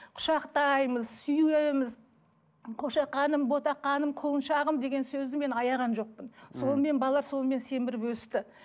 құшақтаймыз сүйеміз қошақаным ботақаным құлыншағым деген сөзді мен аяған жоқпын сонымен балалар сонымен семіріп өсті